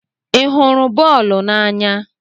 Ị hụrụ boolu n'anya?